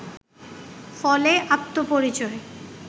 ফলে আত্মপরিচয়